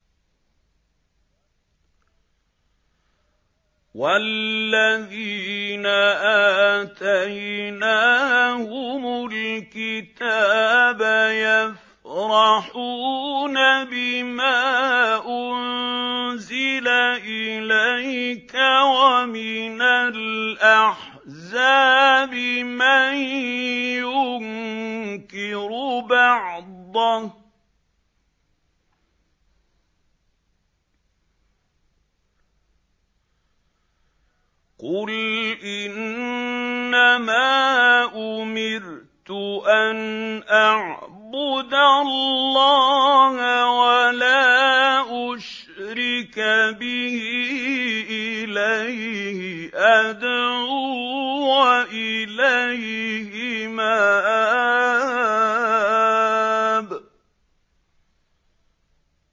وَالَّذِينَ آتَيْنَاهُمُ الْكِتَابَ يَفْرَحُونَ بِمَا أُنزِلَ إِلَيْكَ ۖ وَمِنَ الْأَحْزَابِ مَن يُنكِرُ بَعْضَهُ ۚ قُلْ إِنَّمَا أُمِرْتُ أَنْ أَعْبُدَ اللَّهَ وَلَا أُشْرِكَ بِهِ ۚ إِلَيْهِ أَدْعُو وَإِلَيْهِ مَآبِ